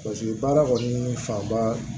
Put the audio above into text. baara kɔni fanba